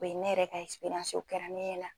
O ye ne yɛrɛ ka o kɛra ne ɲɛna.